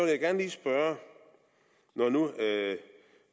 jeg gerne lige spørge når nu